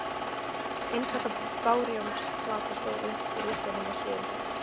Einstaka bárujárnsplata stóð upp úr rústunum sviðin og svört.